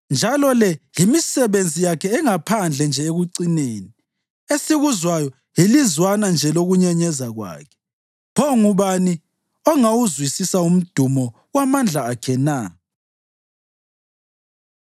Njalo le yimisebenzi yakhe engaphandle nje ekucineni; esikuzwayo yilizwana nje lokunyenyeza kwakhe! Pho ngubani ongawuzwisisa umdumo wamandla akhe na?”